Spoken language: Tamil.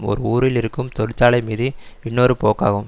ஒரு ஊரில் இருக்கும் தொழிற்சாலை மீது இன்னொரு போக்காகும்